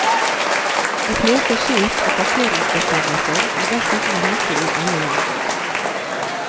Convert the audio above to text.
De fleste skilt og parkeringsbestemmelser er dessuten like i alle land.